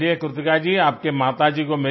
चलिये कृतिका जी आपके माताजी को